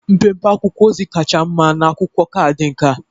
Mpempe akwụkwọ ozi kacha mma na akwụkwọ kaadị nka